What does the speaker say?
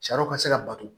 Sariw ka se ka bato